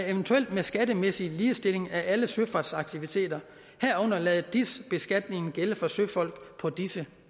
eventuelt ved skattemæssig ligestilling af alle søfartsaktiviteter herunder at lade dis beskatningen gælde for søfolk på disse